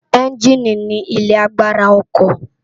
Ènjìní ni ilé àgbárá òkò